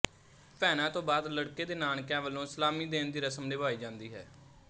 ਭੈਣਾਂ ਤੋਂ ਬਾਅਦ ਲੜਕੇ ਦੇ ਨਾਨਕਿਆਂ ਵੱਲੋਂ ਸਲਾਮੀ ਦੇਣ ਦੀ ਰਸਮ ਨਿਭਾਈ ਜਾਂਦੀ ਹੈ